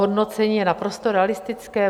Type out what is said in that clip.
Hodnocení je naprosto realistické.